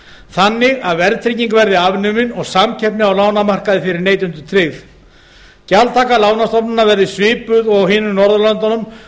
þannig að verðtrygging verði afnumin og samkeppni á lánamarkaði fyrir neytendur tryggð gjaldtaka lánastofnana verði svipuð og annars staðar á norðurlöndunum